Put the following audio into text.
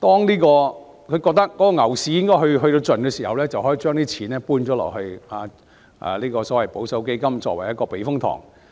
盡頭之際將資金轉移至保守基金，作為一個避風塘。